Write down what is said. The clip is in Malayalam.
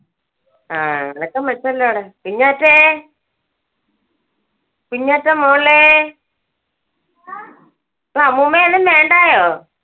ആ, അനക്കം വെച്ചല്ലോ അവിടെ കുഞ്ഞാറ്റെ കുഞ്ഞാറ്റ മോളെ ഇപ്പൊ അമ്മൂമ്മയെ ഒന്നും വേണ്ടായോ?